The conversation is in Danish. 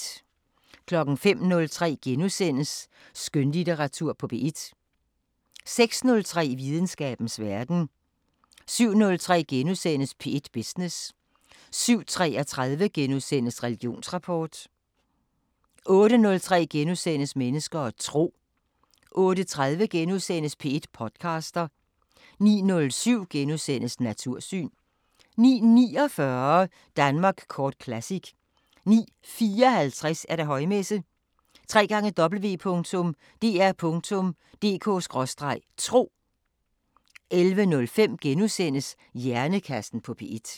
05:03: Skønlitteratur på P1 * 06:03: Videnskabens Verden 07:03: P1 Business * 07:33: Religionsrapport * 08:03: Mennesker og tro * 08:30: P1 podcaster * 09:07: Natursyn * 09:49: Danmark Kort Classic 09:54: Højmesse - www.dr.dk/tro 11:05: Hjernekassen på P1 *